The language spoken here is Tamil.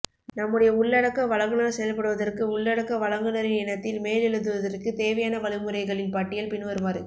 நம்முடைய உள்ளடக்க வழங்குநர் செயல்படுவதற்கு உள்ளடக்க வழங்குநரின் இனத்தில் மேலெழுதுவதற்கு தேவையானவழிமுறைகளின் பட்டியல் பின்வருமாறு